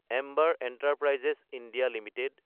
Amber Enterprises India Ltd